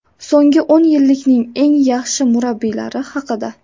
So‘nggi o‘n yillikning eng yaxshi murabbiylari haqida !